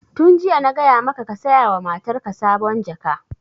Tun jiya na gaya maka ka saya wa matarka sabon jaka!